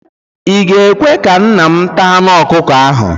I ga-ekwe ka nna m taa anụ ọkụkọ ahụ?